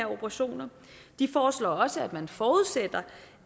operationer de foreslår også at man forudsætter